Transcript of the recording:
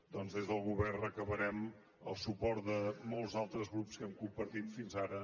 doncs des del govern demanarem el suport de molts altres grups amb què hem compartit fins ara